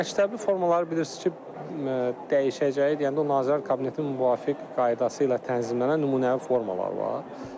Məktəbi formaları bilirsiniz ki, dəyişəcəyi deyəndə o Nazirlər Kabinetinin müvafiq qaydası ilə tənzimlənən nümunəvi formalar var.